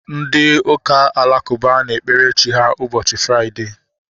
Ndị ụka alakụba na-ekpere Chi ha ụbọchị Fraịdee